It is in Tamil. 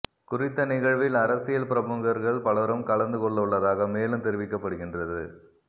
குறித்த நிகழ்வில் அரசியல் பிரமுகர்கள் பலரும் கலந்து கொள்ள உள்ளதாக மேலும் தெரிவிக்கப்படுகின்றது